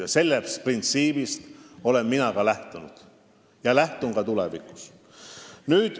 Sellest printsiibist olen mina lähtunud ja lähtun ka tulevikus.